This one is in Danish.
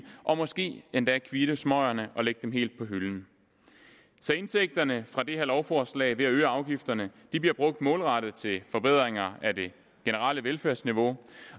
og måske endda kvitte smøgerne og lægge dem helt på hylden indtægterne fra det her lovforslag ved at øge afgifterne bliver brugt målrettet til forbedringer af det generelle velfærdsniveau